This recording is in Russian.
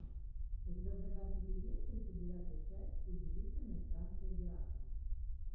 у тебя в загашнике есть тридцать девятая часть удивительные странствия геракла